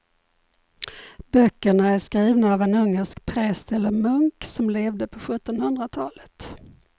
Böckerna är skrivna av en ungersk präst eller munk som levde på sjuttonhundratalet.